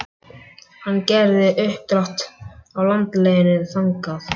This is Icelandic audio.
Hann gerði uppdrátt af landleiðinni þangað.